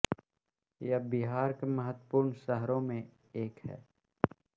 यह बिहार के महत्वपूर्ण शहरों में एक है